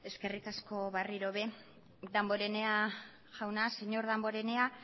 eskerrik asko berriro ere damborenea jauna señor damborenea